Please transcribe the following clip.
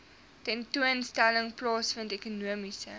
tentoonstelling plaasvind ekonomiese